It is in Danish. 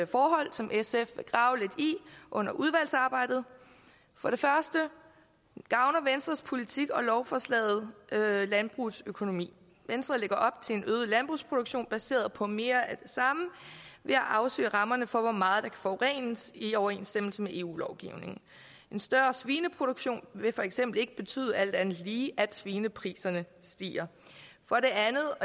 forhold som sf vil grave lidt i under udvalgsarbejdet for det første gavner venstres politik og lovforslaget landbrugets økonomi venstre lægger op til en øget landbrugsproduktion baseret på mere af det samme ved at afsøge rammerne for hvor meget der kan forurenes i overensstemmelse med eu lovgivningen en større svineproduktion vil for eksempel ikke betyde alt andet lige at svinepriserne stiger for det andet